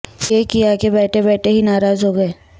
یہ کیا کہ بیٹھے بیٹھے ہی ناراض ہوگئے